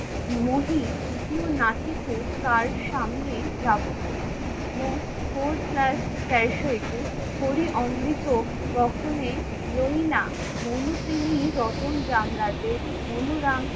মহি দ্বিতীয় কার সামনে যাবো। ফোর প্লাস তেরোশো একুস হরি অমৃত দহনে রতন রামরাজে অনুরাং